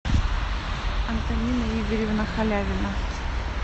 антонина игоревна халявина